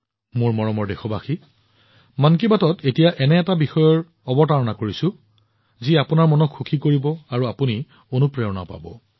মোৰ মৰমৰ দেশবাসীসকল মন কী বাতত এতিয়া এনে এটা বিষয়ৰ বিষয়ে কথা পাতিম যি আপোনালোকৰ মনটো সুখী কৰি তুলিব আৰু অনুপ্ৰেৰণাও পাব